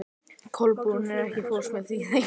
Kolbrún, ekki fórstu með þeim?